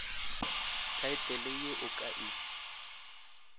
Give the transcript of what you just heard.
thaetlele ye o ka e